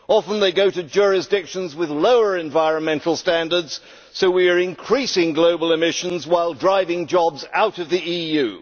Often they go to jurisdictions with lower environmental standards, so we are increasing global emissions while driving jobs out of the EU.